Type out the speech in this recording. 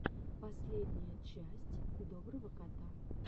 последняя часть доброго кота